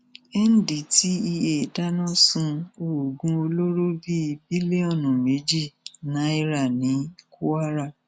ndtea dáná sun oògùn olóró bíi bílíọnù méjì náírà ní kwara